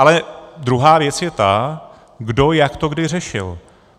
Ale druhá věc je ta, kdo jak to kdy řešil.